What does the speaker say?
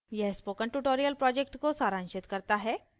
यह spoken tutorial project को सारांशित करता है